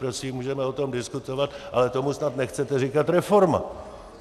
Prosím, můžeme o tom diskutovat, ale tomu snad nechcete říkat reforma.